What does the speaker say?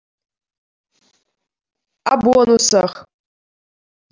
а бонусах